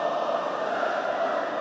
Qarabağ!